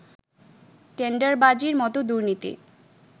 টেন্ডারবাজির মতো দুর্নীতি